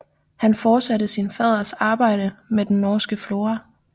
Han fortsatte sin faders arbejde med den norske flora